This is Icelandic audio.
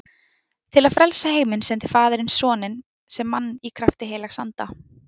Til að frelsa heiminn sendi faðirinn soninn sem mann í krafti heilags anda.